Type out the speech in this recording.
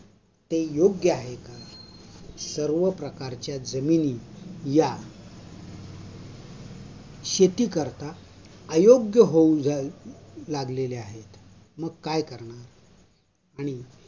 ते योग्य आहे का, सर्व प्रकारच्या जमिनी या शेती करता अयोग्य होऊ झाअ लागलेल्या आहेत मग काय करणार?